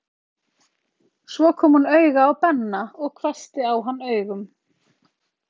Svo kom hún auga á Benna og hvessti á hann augun.